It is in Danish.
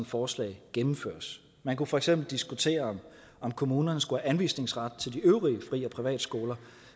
forslag gennemføres man kunne for eksempel diskutere om kommunerne skulle have anvisningsret til de øvrige fri og privatskoler